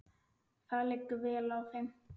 Það liggur vel á þeim.